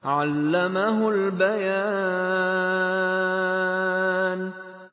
عَلَّمَهُ الْبَيَانَ